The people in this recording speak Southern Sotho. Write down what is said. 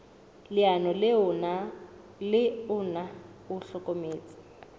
leano le ona o hlokometse